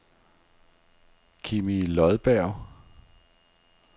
Kimmie Lodberg